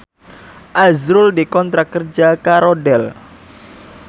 azrul dikontrak kerja karo Dell